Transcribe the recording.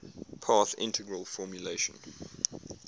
path integral formulation